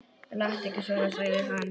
Láttu ekki svona, sagði hann.